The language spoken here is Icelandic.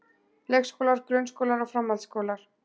Leikskólar, grunnskólar og framhaldsskólar.